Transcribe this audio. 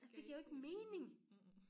Giver ikke mening mhmh